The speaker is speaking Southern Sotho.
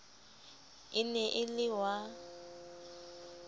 e ne e le wa